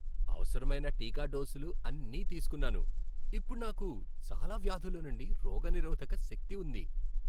అవసరమైన టీకా డోసులు అన్నీ తీసుకున్నాను. ఇప్పుడు నాకు చాలా వ్యాధుల నుండి రోగనిరోధక శక్తి ఉంది.